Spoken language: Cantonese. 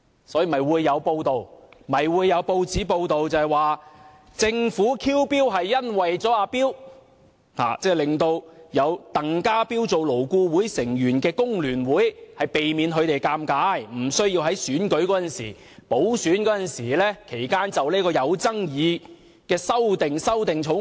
所以，有報章報道，政府 "kill bill" 是為了"阿彪"，令有鄧家彪做勞顧會成員的工聯會避免尷尬，無須在補選期間就有爭議的《條例草案》修正案投票。